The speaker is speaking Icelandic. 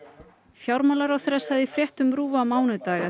fjármálaráðherra sagði í fréttum RÚV á mánudag